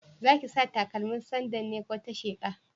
Zaki sa stakalmin sandal ne ko ta sheƙa?